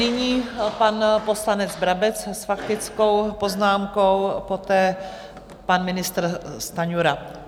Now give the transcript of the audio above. Nyní pan poslanec Brabec s faktickou poznámkou, poté pan ministr Stanjura.